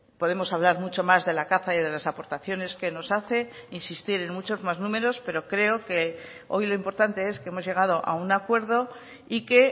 podemos hablar mucho más de la caza y de las aportaciones que nos hace insistir en muchos más números pero creo que hoy lo importante es que hemos llegado a un acuerdo y que